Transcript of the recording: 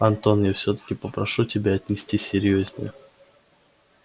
антон я всё-таки попрошу тебя отнестись серьёзнее